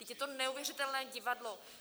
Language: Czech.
Vždyť je to neuvěřitelné divadlo.